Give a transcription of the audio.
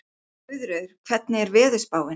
Guðríður, hvernig er veðurspáin?